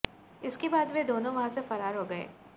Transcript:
इसके बाद वे दोनों वहां से फरार हो गए